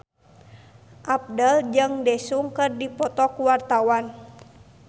Abdel jeung Daesung keur dipoto ku wartawan